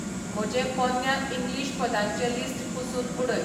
म्हजें पोन्न्या इंग्लीश पदांचें लिस्ट पुसून उडय